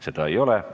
Seda ei ole.